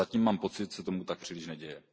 Zatím mám pocit, že se tomu tak příliš neděje.